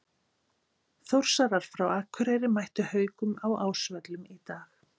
Þórsarar frá Akureyri mættu Haukum á Ásvöllum í dag.